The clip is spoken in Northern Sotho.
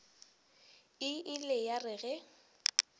e ile ya re ge